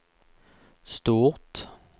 stort